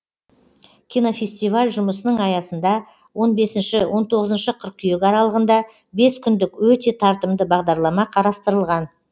кинофестиваль жұмысының аясында он бесінші он тоғызыншы қыркүйек аралығында бес күндік өте тартымды бағдарлама қарастырылған